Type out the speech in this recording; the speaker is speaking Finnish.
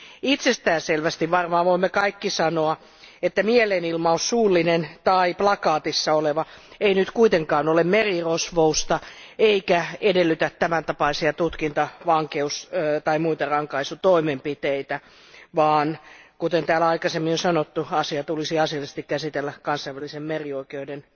Itsestään selvästi voimme varmaan kaikki sanoa, että mielenilmaus, suullinen tai plakaatissa oleva, ei nyt kuitenkaan ole merirosvousta eikä edellytä tämän tapaisia tutkintavankeus tai muita rankaisutoimenpiteitä, vaan kuten täällä aikaisemmin on sanottu, asia tulisi asiallisesti käsitellä kansainvälisen merioikeuden